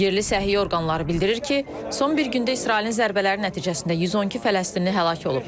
Yerli səhiyyə orqanları bildirir ki, son bir gündə İsrailin zərbələri nəticəsində 112 Fələstinli həlak olub.